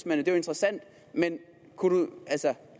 er jo interessant men